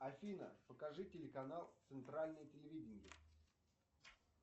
афина покажи телеканал центральное телевидение